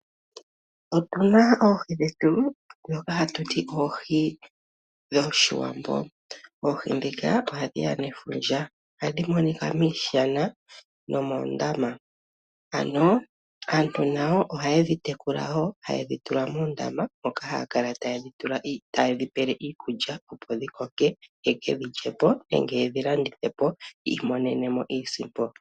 Otu na oohi dhetu ndhoka hatu ti oohi dhOshiwambo. Oohi ndhika ohadhi ya nefundja nohadhi monika miishana nomoondama. Ano aantu nayo ohaye dhi tekula woo, taye dhi tula moondama moka taye dhi pele mo iikulya opo dhi koke ye ke dhi lye po nenge ye dhi landithe po, opo yiimonenemo iisimpo.